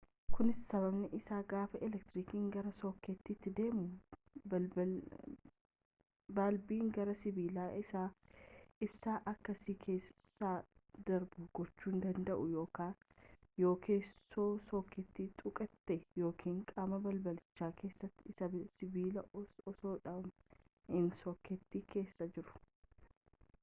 kunis sababni isaa gaafa elektirikiin gara sookeetiiti deemu balbiin gari sibiila isaa ibsaan akka si keessa darbu gochuu danda'u yoo keessoo sookeetii tuqxe yookiin qaama balbicha keessa isaa sibiila osoodhumaa inni sokeetii keessa jiru